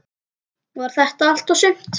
Var þetta allt og sumt?